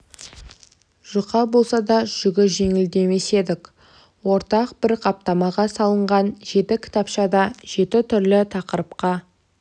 жұқа болса да жүгі жеңіл демес едік ортақ бір қаптамаға салынған жеті кітапшада жеті түрлі тақырыпқа